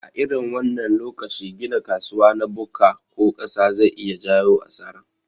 A irin wannan lokaci gina kasuwa na bukka ko ƙasa zai iya jayo asara